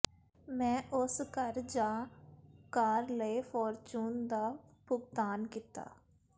ਮੈਂ ਉਸ ਘਰ ਜਾਂ ਕਾਰ ਲਈ ਫਾਰਚੂਨ ਦਾ ਭੁਗਤਾਨ ਕੀਤਾ